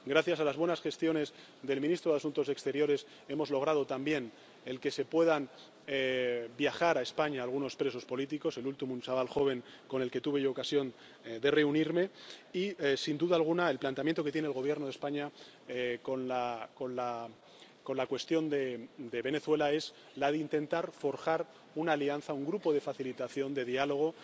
Gracias a las buenas gestiones del ministro de Asuntos Exteriores, hemos logrado también que puedan viajar a España algunos presos políticos —el último, un chaval joven con el que tuve ocasión de reunirme— y, sin duda alguna, el planteamiento que tiene el Gobierno de España con la cuestión de Venezuela es la de intentar forjar una alianza, un grupo de facilitación de diálogo,